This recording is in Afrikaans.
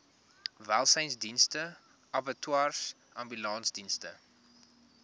welsynsdienste abattoirs ambulansdienste